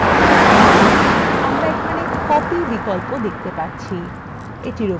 আমরা এখানে copy বিকল্প দেখতে পাচ্ছি এটির উপর click করুন